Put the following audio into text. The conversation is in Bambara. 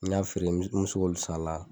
N'i n y'a feere mɛ se k'olu san a la.